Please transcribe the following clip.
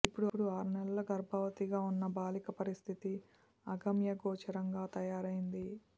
ఇప్పుడు ఆరు నెలల గర్భవతి గా ఉన్న బాలిక పరిస్థితి అగమ్యగోచరంగా తయారైంది